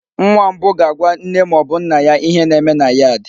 Nwa mbụ ga-agwa nne ma ọ bụ nna ya ihe na-eme na yad.